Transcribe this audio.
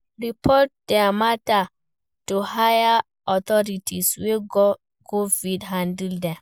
Report their matter to higher authority wey go fit handle dem